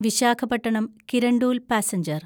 Visakhapatnam Kirandul passenger